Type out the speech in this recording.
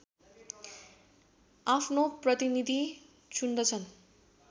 आफ्नो प्रतिनीधि चुन्दछन्